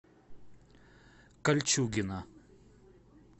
кольчугино